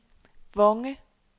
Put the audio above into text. Vonge